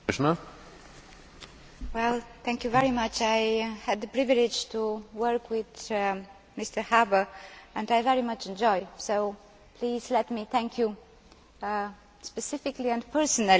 I had the privilege of working with Mr Harbour, which I very much enjoyed, so please let me thank you specifically and personally for this opportunity over the last three years.